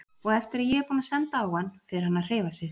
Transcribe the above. Og eftir að ég er búinn að senda á hann fer hann að hreyfa sig.